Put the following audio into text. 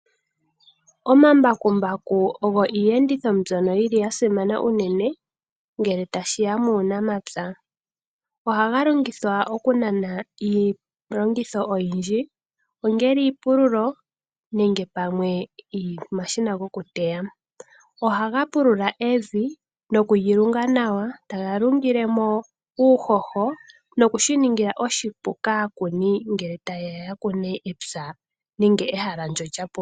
Omambakumbaku ogo Iiyenditho mbyono yili ya simana unene ngele ta shiya muunamapya. Ohaga longithwa oku nana iilongitho oyindji ngaashi, iipululo nenge pamwe omashina gokuteya. Oha ga pulula evi , no kulilunga nawa eta ga lungilemo uuhoho nokushi ninga oshipu kaakuni ngele ta ye ya kune epya .